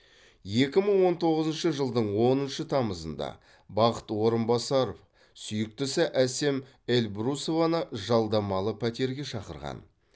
екі мың он тоғызыншы жылдың оныншы тамызында бақыт орынбасар сүйіктісі әсем эльбрусованы жалдамалы пәтерге шақырған